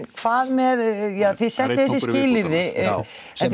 hvað með ja þið settuð þessi skilyrði sem